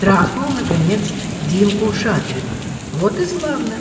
трахнул наконец динку шадрину вот и славно